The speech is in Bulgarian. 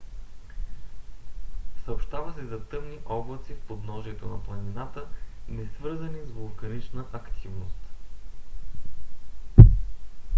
съобщава се за тъмни облаци в подножието на планината несвързани с вулканична активност